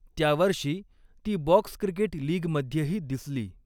त्या वर्षी ती बॉक्स क्रिकेट लीगमध्येही दिसली.